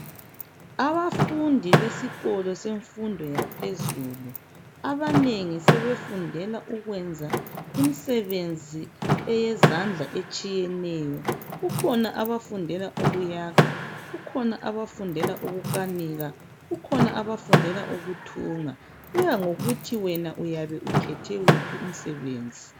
Abafundi besikolo semfundo yaphezulu abanengi sebefundela ukwenza imsebenzi eyezandla etshiyeneyo kukhona abafundela ukuyakha kukhona abafundela ukunkanika kukhona abafundela ukuthunga kuya ngokuthi wena uyabe ukhethe wuphi umsebenzi.